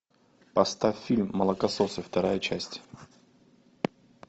поставь фильм молокососы вторая часть